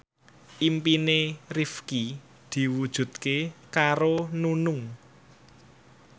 impine Rifqi diwujudke karo Nunung